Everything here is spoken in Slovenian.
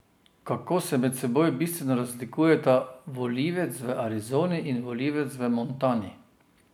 Kako se med seboj bistveno razlikujeta volivec v Arizoni in volivec v Montani?